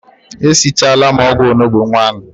E sichala m ogwu onugbu nwanu